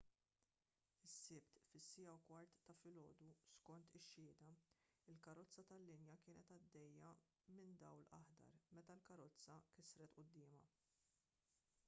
is-sibt fis-1:15 ta’ filgħodu skont ix-xhieda il-karozza tal-linja kienet għaddejja minn dawl aħdar meta l-karozza kisret quddiemha